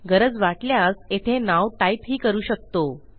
गरज वाटल्यास येथे नाव टाईप ही करू शकतो